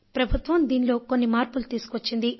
ప్రభుత్వం దీనిలో కొన్ని మార్పులు తీసుకువచ్చింది